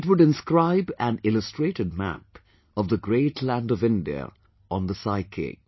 It would inscribe an illustrated map of the great land of India on the psyche